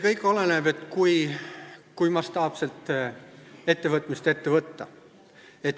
Kõik oleneb sellest, kui mastaapselt midagi ette võtta.